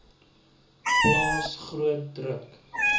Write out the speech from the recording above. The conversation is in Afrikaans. plaas groot druk